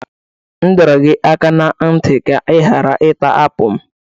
M dọrọ gị aka ná ntị ka ị ghara ita apụl m!